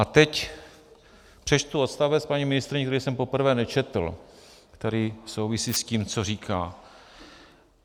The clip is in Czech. A teď přečtu odstavec, paní ministryně, který jsem poprvé nečetl, který souvisí s tím, co říkáte.